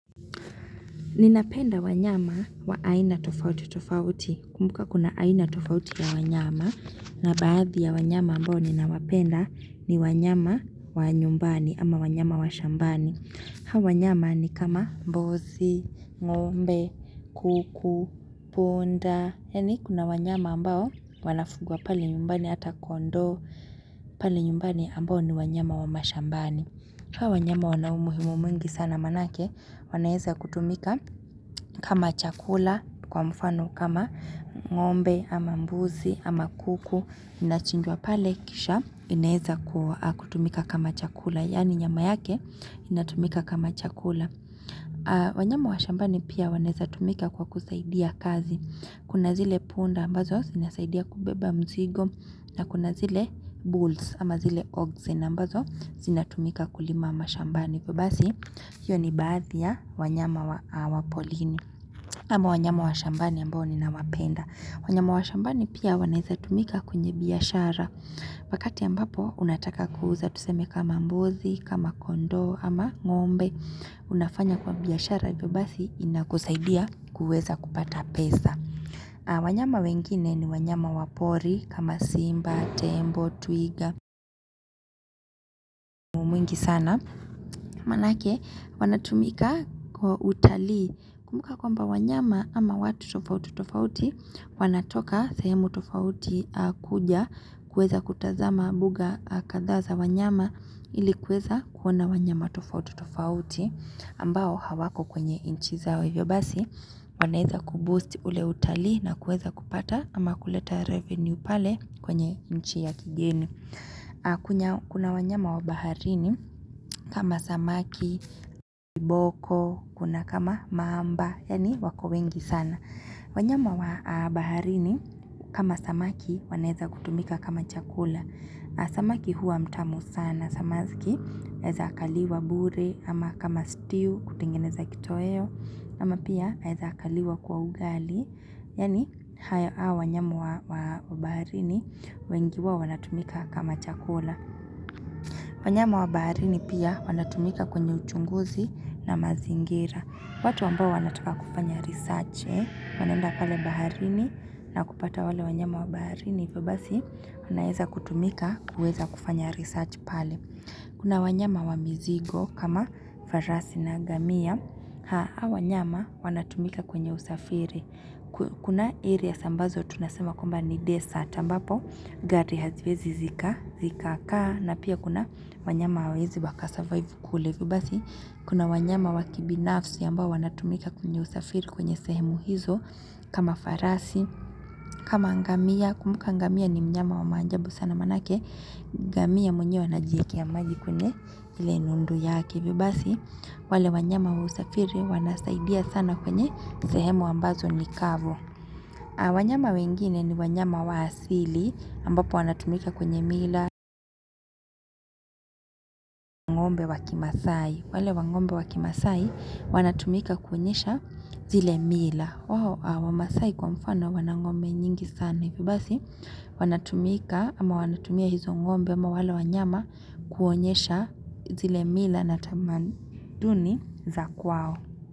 Ninapenda wanyama wa aina tofauti tofauti. Kumbuka kuna aina tofauti ya wanyama. Na baadhi ya wanyama ambao ninawapenda ni wanyama wa nyumbani ama wanyama wa shambani. Hawa wanyama ni kama mbuzi, ng'ombe, kuku, punda. Yani kuna wanyama ambao wanafugwa pale nyumbani hata kondoo. Pale nyumbani ambao ni wanyama wa mashambani. Hawa wanyama wana umuhimu mwingi sana maanayake. Wanaweza kutumika kama chakula kwa mfano kama ng'ombe ama mbuzi ama kuku inachinjwa pale kisha inaweza kutumika kama chakula yani nyama yake inatumika kama chakula wanyama wa shambani pia wanaweza tumika kwa kusaidia kazi kuna zile punda ambazo zinasaidia kubeba mzigo na kuna zile bulls ama zile oxen ambazo zinatumika kulima mashambani hiyo ni baadhi ya wanyama wa porini ama wanyama wa shambani ambao nina wapenda wanyama wa shambani pia wanaweza tumika kwenye biashara wakati ambapo unataka kuuza tuseme kama mbuzi, kama kondoo ama ng'ombe unafanya kwa biashara hivyo basi inakusaidia kuweza kupata pesa wanyama wengine ni wanyama wa pori kama simba, tembo, twiga, mwingi sana Maanayake wanatumika kwa utalii kumbuka kwamba wanyama ama watu tofauti tofauti wanatoka sahemu tofauti kuja kuweza kutazama mbuga kadhaa za wanyama ili kuweza kuona wanyama tofauti tofauti ambao hawako kwenye nchi zao hivyo basi wanaweza kuboost ule utalii na kuweza kupata ama kuleta revenue pale kwenye nchi ya kigeni. Kuna wanyama wa baharini kama samaki, kiboko, kuna kama mamba, yani wako wengi sana wanyama wa baharini kama samaki wanaweza kutumika kama chakula Samaki huwa mtamu sana, samaki anaweza akaliwa bure, ama kama stiu kutengeneza kitoeo ama pia anaweza akaliwa kwa ugali, yani hao wanyama wa baharini, wengi wao wanatumika kama chakula. Wanyama wa baharini pia wanatumika kwenye uchunguzi na mazingira. Watu ambao wanataka kufanya research, wanaenda pale baharini na kupata wale wanyama wa baharini, hivyo basi wanaweza kutumika kuweza kufanya research pale. Kuna wanyama wa mizigo kama farasi na ngamia. Hawa wanyama wanatumika kwenye usafiri. Kuna area ambazo tunasema kwamba ni desert ambapo. Gari haziwezi zika. Zika kaa. Na pia kuna wanyama hawawezi waka survive kule. Hivyobasi kuna wanyama wakibinafsi ambao wanatumika kwenye usafiri kwenye sehemu hizo kama farasi kama ngamia, kumbuka ngamia ni mnyama wa maajabu sana maanayake ngamia mwenyewe anajikiwekea maji kwenye ile nundu yake hivyobasi wale wanyama wa usafiri wanasaidia sana kwenye sehemu ambazo nikavu wanyama wengine ni wanyama waasili ambapo wanatumika kwenye mila wang'ombe wakimasai wale wang'ombe wakimasai wanatumika kuonyesha zile mila wamasai kwa mfano wanang'ombe nyingi sana hivyo basi wanatumika ama wanatumia hizo ng'ombe ama wale wanyama kuonyesha zile mila na tamaduni za kwao.